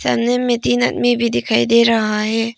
सामने में तीन आदमी भी दिखाई दे रहा है।